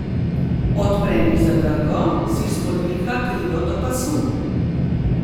Odpre mi zadrgo, si spodviha krilo do pasu.